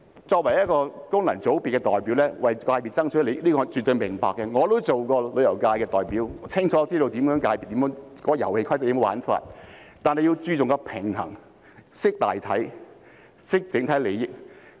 作為功能界別的代表，為界別爭取利益我是絕對明白的，我亦曾經是旅遊界的代表，清楚知道遊戲規則和玩法，但必須注重平衡，懂得大體，懂得整體利益。